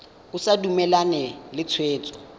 o sa dumalane le tshwetso